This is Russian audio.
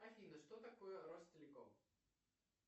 афина что такое ростелеком